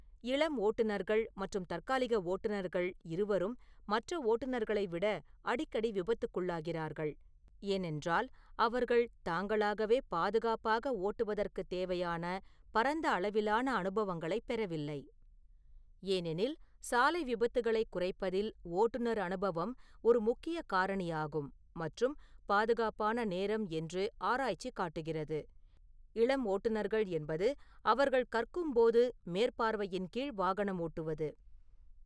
இளம் ஓட்டுநர்கள் மற்றும் தற்காலிக ஓட்டுநர்கள் இருவரும் மற்ற ஓட்டுநர்களை விட அடிக்கடி விபத்துக்குள்ளாகிறார்கள், ஏனென்றால் அவர்கள் தாங்களாகவே பாதுகாப்பாக ஓட்டுவதற்குத் தேவையான பரந்த அளவிலான அனுபவங்களைப் பெறவில்லை, ஏனெனில் சாலை விபத்துகளைக் குறைப்பதில் ஓட்டுநர் அனுபவம் ஒரு முக்கிய காரணியாகும் மற்றும் பாதுகாப்பான நேரம் என்று ஆராய்ச்சி காட்டுகிறது. இளம் ஓட்டுநர்கள் என்பது அவர்கள் கற்கும் போது மேற்பார்வையின் கீழ் வாகனம் ஓட்டுவது